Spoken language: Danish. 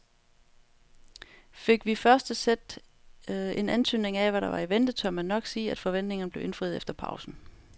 Fik vi i første sæt en antydning af hvad der var i vente, tør man nok sige at forventningerne blev indfriet efter pausen.